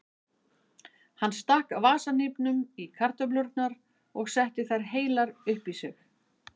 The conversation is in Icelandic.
Hann stakk vasahnífnum í kartöflurnar og setti þær heilar upp í sig.